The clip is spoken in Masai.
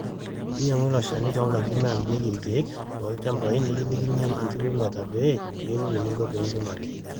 inyang'u iloshani toonkajijik naamirieki irkeek loolchambai nekilikini inkipimeta pee iyiolou eninko pee impimaki